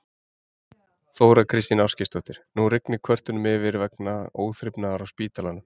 Þóra Kristín Ásgeirsdóttir: Nú rignir kvörtunum yfir vegna óþrifnaðar á spítalanum?